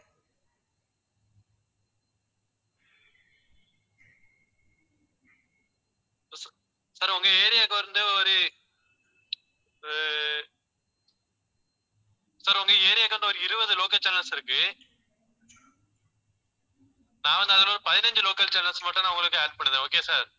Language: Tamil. sir உங்க area க்கு வந்து ஒரு ஆஹ் sir உங்க area க்கு வந்து ஒரு இருபது local channels இருக்கு. நான் வந்து அதில ஒரு பதினஞ்சு local channels மட்டும் நான் உங்களுக்கு add பண்ணிடறேன். okay sir